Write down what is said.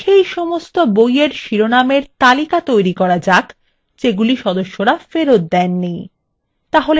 তাহলে সেই সমস্ত বইএর শিরোনামের তালিকা তৈরী করা যাক যেগুলি সদস্যরা ফেরত দেয়নি